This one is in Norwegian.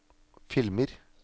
filmer